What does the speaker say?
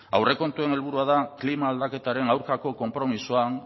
aurrekontuen helburua da klima aldaketaren aurkako konpromisoa